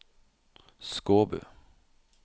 Skåbu